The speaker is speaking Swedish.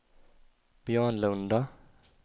Björnlunda